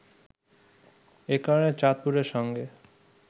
এ কারণে চাঁদপুরের সঙ্গে